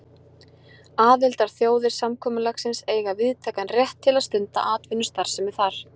Aðildarþjóðir samkomulagsins eiga víðtækan rétt til að stunda atvinnustarfsemi þar.